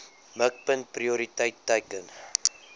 mikpunt prioriteit teiken